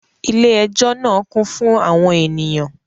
Ilé ẹjọ́ náà kún fún àwọn ènìyàn